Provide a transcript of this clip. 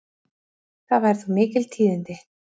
Það væru þá mikil tíðindi.